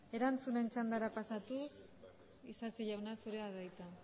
erantzunen txandara pasatuz isasi jauna zurea da hitza